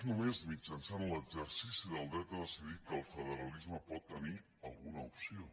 jançant l’exercici del dret a decidir que el federalisme pot tenir alguna opció